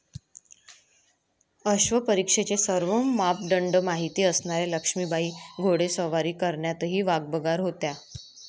अश्वपरीक्षेचे सर्व मापदंड माहित असणाऱ्या लक्ष्मीबाई घोडेस्वारी करण्यातही वाकबगार होत्या.